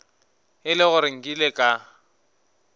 e le gore nkile ka